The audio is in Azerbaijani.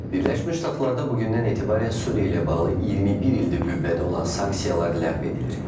Birləşmiş Ştatlarda bu gündən etibarən Suriya ilə bağlı 21 ildir qüvvədə olan sanksiyalar ləğv edilir.